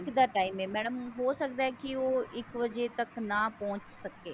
ਇੱਕ ਦਾ time ਹੈ madam ਹੋ ਸਕਦਾ ਕਿ ਉਹ ਇੱਕ ਵਜੇ ਤੱਕ ਨਾ ਪਹੁੰਚ ਸਕੇ